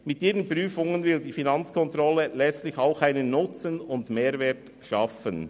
Mit ihren Prüfungen will die Finanzkontrolle letztlich auch einen Nutzen und Mehrwert verschaffen.